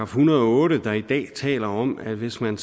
hundrede og otte der i dag taler om at hvis man